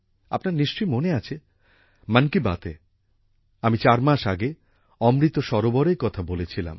আপনার নিশ্চই মনে আছে মন কি বাতএ আমি চার মাস আগে অমৃত সরোবরের কথা বলেছিলাম